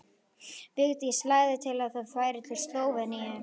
Vigdís lagði til að þau færu til Slóveníu.